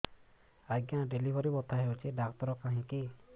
ଆଜ୍ଞା ଡେଲିଭରି ବଥା ହଉଚି ଡାକ୍ତର କାହିଁ କି